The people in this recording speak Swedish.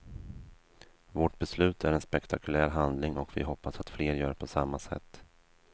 Vårt beslut är en spektakulär handling och vi hoppas att fler gör på samma sätt.